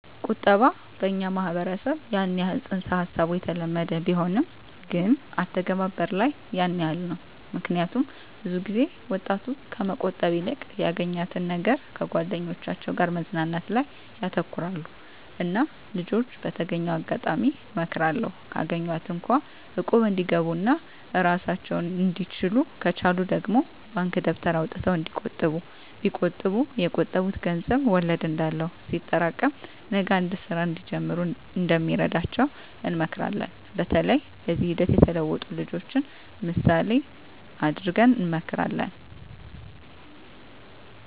ቁጠባ በኛ ማህበረሰብ ያን የህል ፅንስ ሀሳቡ የተለመደ ቢሆንም ግን አተገባበር ላይ ያን የህል ነው ምክኒያቱም ብዙ ጊዜ ወጣቱ ከመቆጠብ ይልቅ ያገኛትን ነገር ከጓደኞቻቸው ጋር መዝናናት ላይ ያተኩራሉ እና ልጅች በተገኘው አጋጣሚ እመክራለሁ ካገኟት እንኳ እቁብ እንዲገቡ ኦና እራሳቸውን እንድችሉ ከቻሉ ደግሞ ባንክ ደብተር አውጥተው እንዲቆጥቡ ቢቆጥቡ የቆጠቡት ገንዘብ ወለድ እንዳለው ሲጠሬቀም ነገ አንድ ስራ እንዲጀምሩ እንደሚረዳቸው እንመክራለን በተለይ በዚህ ሂደት የተለወጡ ልጅችን ምሳሌ እደረግ እንመክራለን።